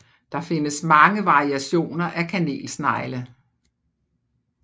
Der findes mange variationer af kanelsnegle